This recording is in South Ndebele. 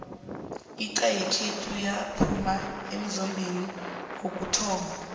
inxha yekhethu yaphuma emzombeni wokuthoma